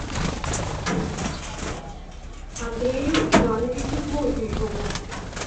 андрею ивановичу плотникову